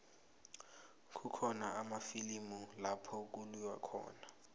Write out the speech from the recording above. kukhona amafilimu lapho kuliwa khona